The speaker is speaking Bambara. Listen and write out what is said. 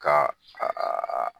Ka a a a.